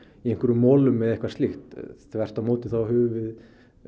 í einhverjum molum eða eitthvað slíkt þvert á móti höfum við